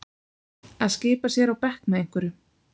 Að skipa sér á bekk með einhverjum